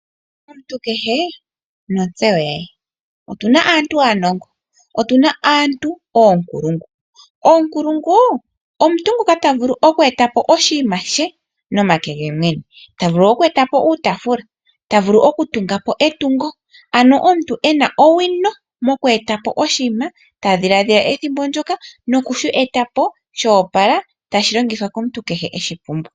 Omuntu kehe notsewo yaye, otuna aantu aanongo, otuna aantu oonkulungu. Oonkulungu omuntu ngoka tavulu oku etapo oshinima she nomake gemwene. Tavulu oku etapo uutaafula, tavulu okutungapo etungo, ano omuntu ena owino moku etapo oshinima, tadhiladhila ethimbo ndyoka nokushi etapo shoopala, tashi longithwa komuntu kehe eshipumbwa.